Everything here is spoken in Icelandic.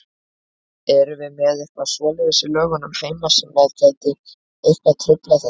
Erum við með eitthvað svoleiðis í lögum heima sem að gæti eitthvað truflað þetta?